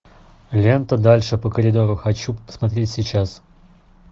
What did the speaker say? лента дальше по коридору хочу посмотреть сейчас